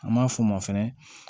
An m'a fɔ o ma fɛnɛ